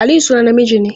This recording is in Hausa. Aliyu sunan namiji ne.